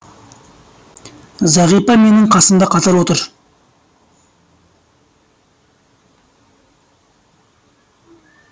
зағипа менің қасымда қатар отыр